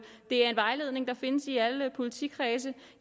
det er en vejledning der findes i alle politikredse